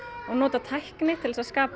og nota tækni til þess að skapa